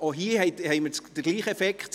Auch hier haben wir den gleichen Effekt: